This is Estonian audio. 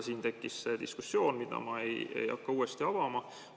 Siin tekkis diskussioon, mida ma ei hakka uuesti avama.